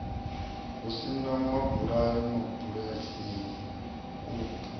ho sa mabulayo mabulasini u